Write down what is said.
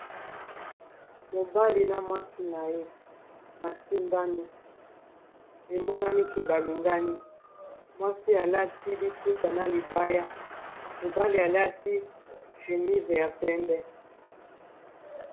Mobali na mwasi na ye bas simbani emonani ke ba lingani mwasi alati liputa na libaya mobali alati chemise ya mpembe.